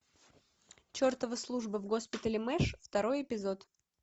чертова служба в госпитале мэш второй эпизод